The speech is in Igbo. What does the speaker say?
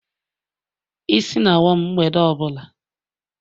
Isi na-awa m mgbede ọ bụla.